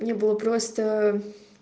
мне было просто